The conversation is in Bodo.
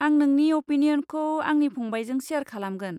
आं नोंनि अपिनियनखौ आंनि फंबायजों शेयार खालामगोन।